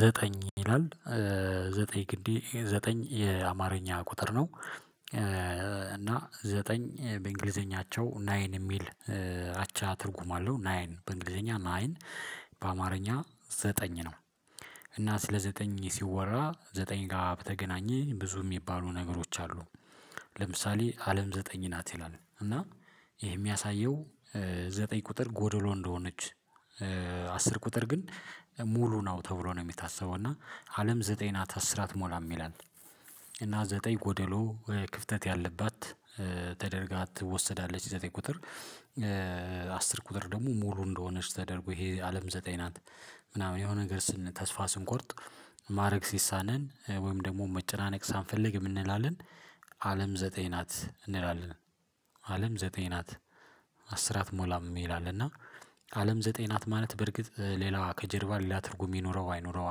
ዘጠኝ ይላል ዘጠኝ ግዴ ዘጠኝ የአማርኛ ቁጥር ነው እና ዘጠኝ በእንግሊዘኛቸው ናይን የሚል አቻ ትርጉም አለው ናይን በእንግሊዘኛ ናይን በአማርኛ ዘጠኝ ነው እና ስለ ዘጠኝ ሲወራ ዘጠኝ ጋር በተገናኘ ብዙ የሚባሉ ነገሮች አሉ ለምሳሌ አለም ዘጠኝ ናት ይላል እና ይሄ የሚያሳየው ዘጠኝ ቁጥር ጎዶሎ እንደሆነች አስር ቁጥር ግን ሙሉ ነው ተብሎ ነው የሚታሰበው እና አለም ዘጠኝ ናት አስር አትሞላም ይላል እና ዘጠኝ ጎደሎ ክፍተት ያለባት ተደርጋ ትወሰዳለች የዘጠኝ ቁጥር አስር ቁጥር ደግሞ ሙሉ እንደሆነች ተደርጎ ይሄ አለም ዘጠኝ ናት ምናምን የሆነ ነገር ስን ተስፋ ስንቆርጥ ማድረግ ሲሳነን ወይም ደግሞ መጨናነቅ ሳንፈልግ የምንላለን አለም ዘጠኝ ናት እንላለን አለም ዘጠኝ ናት። አስራት ሞላም ይላል እና አለም ዘጠኝ ናት ማለት በርግጥ ሌላ ከጀርባ ሊዳ ትርጉም የኖረው አይኖረው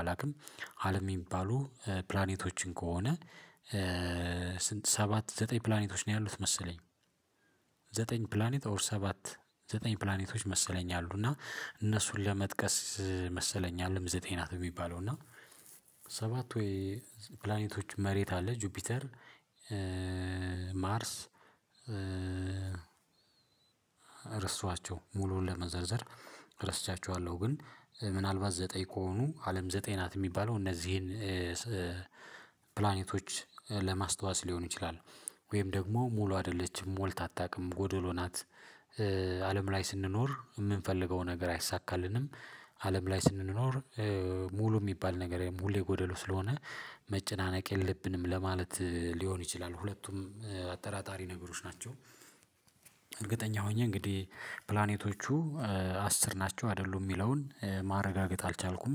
አላውቅም አለም የሚባሉ ፕላኔቶችን ከሆነ ስንት ሰባት ዘጠኝ ፕላኔቶች ነው ያሉት መሰለኝ ዘጠኝ ፕላኔት ኦር ሰባት ዘጠኝ ፕላኔቶች መሰለኝ አሉ እና እነሱን ለመጥቀስ መሰለኝ አለም ዘጠኝ ናት የሚባለው እና ሰባት ወይ ፕላኔቶች መሬት አለ ጁፒተር ማርስ ረስተዋቸው ሙሉን ለመዘርዘር ረስቻቸዋለሁ ግን ምናልባት ዘጠኝ ከሆኑ አለም ዘጠኝ ናት የሚባለው እነዚህን ፕላኔቶች ለማስታወስ ሊሆን ይችላል ወይም ደግሞ ሙሉ አይደለችም ሞልት አታውቅም ጎዶሎ ናት አለም ላይ ስንኖር የምንፈልገው ነገር አይሳካልንም አለም ላይ ስንኖር ሙሉ የሚባል ነገር ሙሉ የጎደሉ ስለሆነ መጨናነቅ የለብንም ለማለት ሊሆን ይችላል ሁለቱም አጠራጣሪ ነገሮች ናቸው ሆኜ እንግዲህ ፕላኔቶቹ አስር ናቸው አይደሉም የሚለውን ማረጋገጥ አልቻልኩም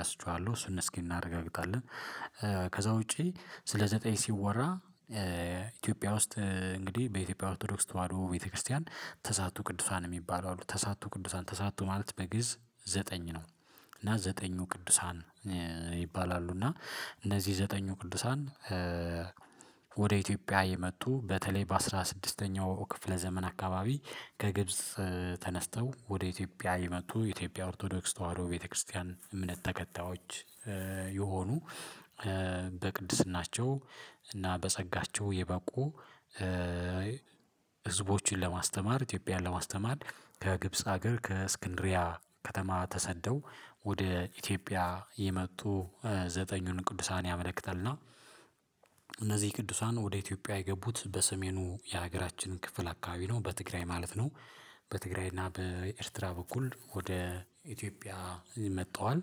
ረስቸዋለሁ እሱን እስኪ እናረጋግጣለን ከዛ ውጪ ስለ ዘጠኝ ሲወራ ኢትዮጵያ ውስጥ እንግዲህ በኢትዮጵያ ኦርቶዶክስ ተዋህዶ ቤተክርስቲያን ተሳቱ ቅዱሳን የሚባለው አሉ ተሳቱ ቅዱሳን ማለት በግእዝ ዘጠኝ ነው እና ዘጠኙ ቅዱሳን ይባላሉ እና እነዚህ ዘጠኙ ቅዱሳን ወደ ኢትዮጵያ የመጡ በተለይ በአስራ ስድስተኛው ክፍለ ዘመን አካባቢ ከግብጽ ተነስተው ወደ ኢትዮጵያ የመጡ የኢትዮጵያ ኦርቶዶክስ ተዋህዶ ቤተክርስቲያን እምነት ተከታዮች የሆኑ በቅድስናቸው እና በጸጋቸው የበቁ ህዝቦችን ለማስተማር ኢትዮጵያን ለማስተማር ከግብጽ ሀገር ከእስክንድርያ ከተማ ተሰደው ወደ ኢትዮጵያ የመጡ ዘጠኙን ቅዱሳን ያመለክታልና እና እነዚህ ቅዱሳን ወደ ኢትዮጵያ የገቡት በሰሜኑ የሀገራችንን ክፍል አካባቢ ነው በትግራይ ማለት ነው በትግራይ እና በኤርትራ በኩል ወደ ኢትዮጵያ ያመጣዋል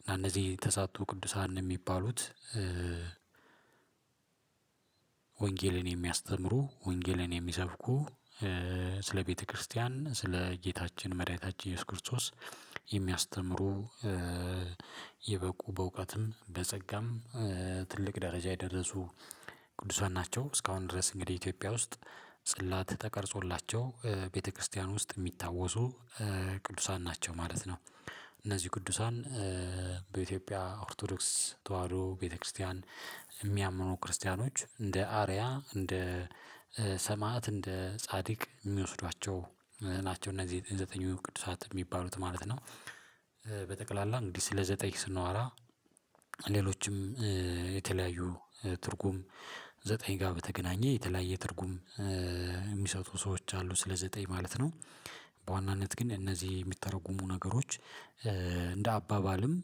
እና እነዚህ ተሳትቶ ቅዱሳን የሚባሉት ወንጌልን የሚያስተምሩ ወንጌልን የሚሰብኩ ስለ ቤተክርስቲያን ስለ ጌታችን መድኃኒታችን ኢየሱስ ክርስቶስ የሚያስተምሩ የበቁ በእውቀትም በጸጋም ትልቅ ደረጃ የደረሱ ቅዱሳን ናቸው እስካሁን ድረስ እንግዲህ ኢትዮጵያ ውስጥ ጽላት ተቀርጾላቸው ቤተክርስቲያን ውስጥ የሚታወሱ ቅዱሳን ናቸው ማለት ነው እነዚህ ቅዱሳን በኢትዮጵያ ኦርቶዶክስ ተዋህዶ ቤተክርስቲያን የሚያምኑ ክርስቲያኖች እንደ አርአያ እንደ ሰማዕት እንደ ጻድቅ የሚወስዷቸው ናቸው እነዚህ የቅዱሳት የሚባሉት ማለት ነው በጠቅላላ እንግዲህ ስለ ዘጠኝ ስንዋራ ሌሎችም ትርጉም ዘጠኝ ጋር በተገናኘ የተለያየ ትርጉም የሚሰጡ ሰዎች አሉ ስለ ዘጠኝ ማለት ነው በዋናነት ግን እነዚህ የሚተረጉሙ ነገሮች እንደ አባባልም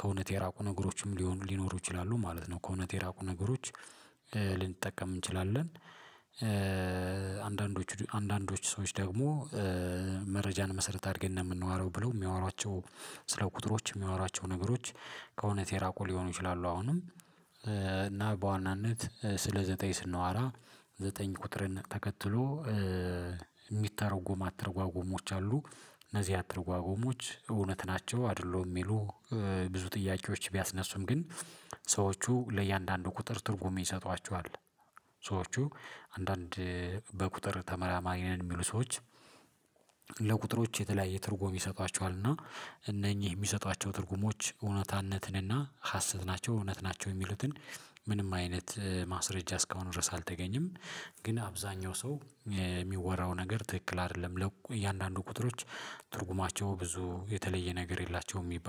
ከእውነት የራቁ ነገሮችም ሊሆኑ ሊኖሩ ይችላሉ ማለት ነው ከእውነት የራቁ ነገሮች ልንጠቀም እንችላለን አንዳንዶቹ አንዳንዶቹ ሰዎች ደግሞ መረጃን መሰረት አድርጌ እንደምንዋረው ብለው የሚያወሯቸው ስለ ቁጥሮች የሚያወሯቸው ነገሮች ከእውነት የራቁ ሊሆኑ ይችላሉ አሁንም እና በዋናነት ስለ ዘጠኝ ስናዋራ ዘጠኝ ቁጥርን ተከትሎ የሚተረጎም አተጓገሞች አሉ እነዚህ አተረጓጎሞች እውነት ናቸው አይደሉም የሚሉ ብዙ ጥያቄዎች ቢያስነሱም ግን ሰዎቹ ለእያንዳንዱ ቁጥር ትርጉም ይሰጧቸዋል። ሰዎቹ አንዳንድ በቁጥር ተመራማሪ ነን የሚሉ ሰዎች ለቁጥሮች የተለያየ ትርጉም ይሰጧቸዋል እና እነኚህ የሚሰጧቸው ትርጉሞች እውነታነትን እና ሀሰት ናቸው እውነት ናቸው የሚሉትን ምንም አይነት ማስረጃ እስካሁን ድረስ አልተገኘም ግን አብዛኛው ሰው የሚወራው ነገር ትክክል አይደለም ለእያንዳንዱ ቁጥሮች ትርጉማቸው ብዙ የተለየ ነገር የላቸውም የሚባል